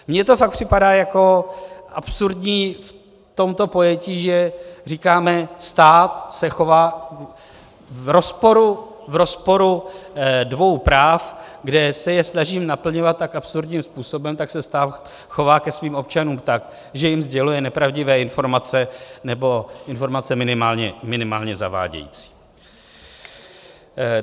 Mně to fakt připadá jako absurdní v tomto pojetí, že říkáme, stát se chová v rozporu dvou práv, kde se je snaží naplňovat tak absurdním způsobem, tak se stát chová ke svým občanům tak, že jim sděluje nepravdivé informace nebo informace minimálně zavádějící.